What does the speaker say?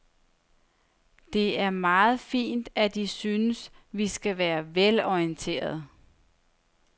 Det er meget fint, at I synes, vi skal være velorienterede.